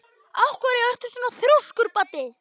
Af hverju ertu svona þrjóskur, Baddi?